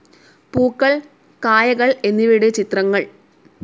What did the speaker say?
പൂക്കൾ, കായകൾ എന്നിവയുടെ ചിത്രങ്ങൾ